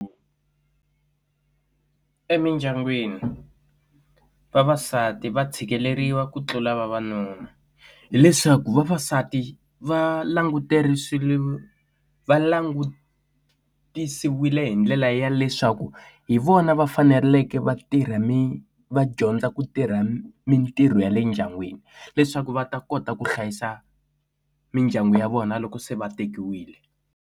Emindyangwini vavasati va tshikeleriwa ku tlula vavanuna hileswaku vavasati va languterile va langutisiwile hi ndlela ya leswaku hi vona va faneleke va tirha mi va dyondza ku tirha mintirho ya le ndyangwini leswaku va ta kota ku hlayisa mindyangu ya vona loko se va tekiwile.